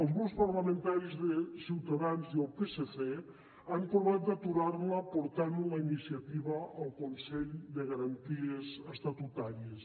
els grups parlamentaris de ciutadans i el psc han provat d’aturar la portant la iniciativa al consell de garanties estatutàries